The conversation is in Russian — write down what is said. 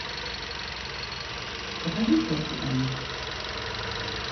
покажи хэппи энд